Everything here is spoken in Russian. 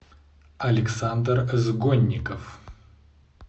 александр сгонников